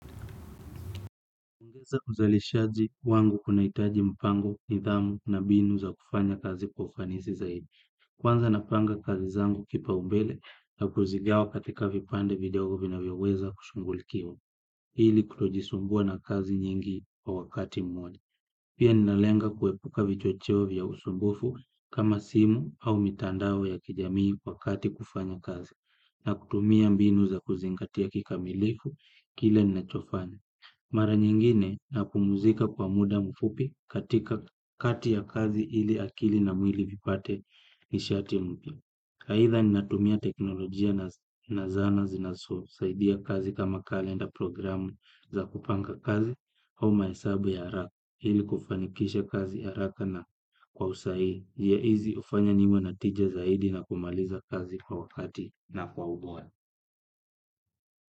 Ungeza kuzalishazi wangu kuna itaji mpango, nidhamu na binu za kufanya kazi kwa ufanisi zaidi. Kwanza napanga kazi zangu kipa ubele na kuzigawa katika vipande vidogi vina vyoweza kushungulikiwa. Ili kutojisumbua na kazi nyingi wa wakati mmoja. Pia ninalenga kuepuka vichocheo vya usumbufu kama simu au mitandao ya kijamii wakati kufanya kazi. Na kutumia mbinu za kuzingatia kika milifu kile ninachofanya. Mara nyingine na pumuzika kwa muda mfupi katika kati ya kazi ili akili na mwili vipate nishati mpya. Haitha ninatumia teknolojia na zana zinaso, saidia kazi kama kalenda programu za kupanga kazi au maesabu ya araka ili kufanikisha kazi ya araka na kwa usahihi. Jiaizi ufanya niwa natija zaidi na kumaliza kazi kwa wakati na kwa ubora.